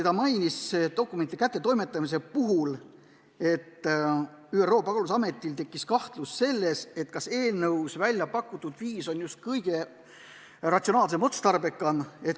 Dokumentide kättetoimetamisest rääkides märkis ta, et ÜRO pagulasametil tekkis kahtlus, kas eelnõus välja pakutud viis on just kõige ratsionaalsem ja otstarbekam.